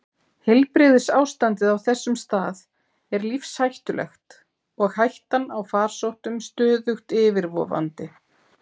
Heilbrigðisástandið á þessum stað er lífshættulegt og hættan á farsóttum stöðugt yfirvofandi.